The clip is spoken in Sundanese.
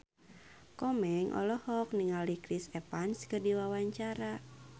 Komeng olohok ningali Chris Evans keur diwawancara